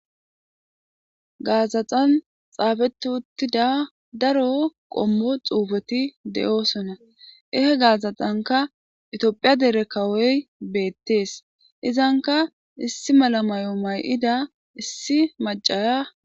gaazaxan xaafeti uttida daro qommo xuufeti de7oosona ehe gaazaxanka etoophiya dere kawoy beettees izanka issi malamayo may7ida issi macaya